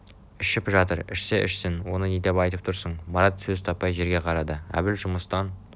ішіп жатыр ішсе ішсін оны не деп айтып тұрсың марат сөз таппай жерге қарады әбіл жұмыстан